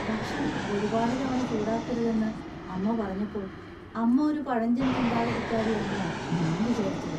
ഭക്ഷണം ഒരുപാട് തവണ ചൂടാക്കരുത് എന്ന് അമ്മ പറഞ്ഞപ്പോൾ അമ്മ ഒരു പഴഞ്ചൻ ചിന്താഗതിക്കാരിയാണെന്നാ ഞാൻ വിചാരിച്ചത്.